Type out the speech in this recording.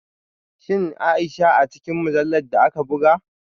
Shin Aisha a cikin mujallar da aka buga?